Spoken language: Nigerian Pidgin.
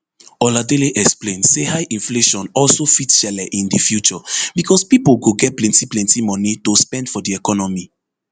oladele explain say high inflation also fit shele in di future becos pipo go get plenti plenti moni to spend for di economy